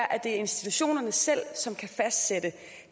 at det er institutionerne selv som kan fastsætte